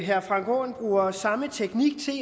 herre frank aaen bruger samme teknik til